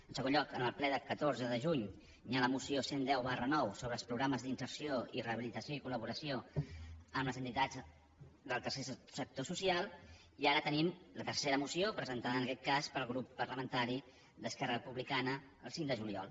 en segon lloc en el ple del catorze de juny hi ha la moció cent i deu ix sobre els programes d’inserció i rehabilitació i col·laboració amb les entitats del tercer sector social i ara tenim la tercera moció presentada en aquest cas pel grup parlamentari d’esquerra republicana el cinc de juliol